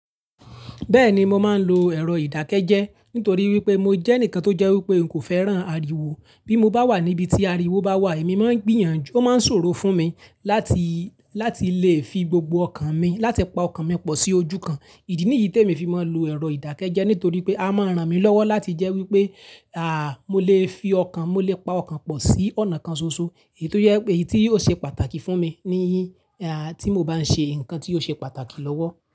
Bẹ́ẹ̀ni, mo máa ń lo ẹ̀rọ ìdákẹ́jẹ́ nítorí wípé mo jẹ́ ẹnìkan tó jẹ́ wípé mi kò fẹ́ràn ariwo. Bí mo bá wà níbi tí ariwo bá wà, èmi máa ń gbìyànjú, ó máa ń ṣòro fún mi láti lè fi gbogbo ọkàn mi, láti pa ọkàn mi pọ̀ sí ojú kan. Ìdí nìyí t'èmi fi máa ń lo ẹ̀rọ ìdákẹ́jẹ́ nítorí pé a máa ràn mí lọ́wọ́ láti jẹ́ wípé, mo lè fi ọkàn, mo lè pa ọkàn pọ̀ sí ọ̀nà kan ṣoṣo. Èyí tí ó ṣe pàtàkì fún mi ni tí mo bá ń ṣe nkan tí ó ṣe pàtàkì lọ́wọ́.